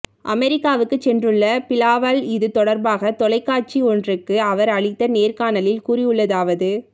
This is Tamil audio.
அமெரிக்காவுக்கு சென்றுள்ள பிலாவல் இது தொடர்பாக தொலைக்காசி ஒன்றுக்கு அவர் அளித்த நேர்காணலில் கூறியுள்ளதாவது